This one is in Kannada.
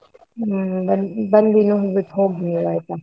ಹ್ಮ್ ಬನ್ನಿ, ಬಂದಿ ನೋಡ್ಬಿಟ್ಟು ಹೋಗಿ ಆಯ್ತಾ?